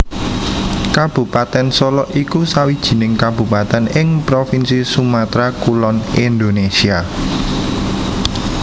Kabupatèn Solok iku sawijining kabupatèn ing provinsi Sumatra Kulon Indonésia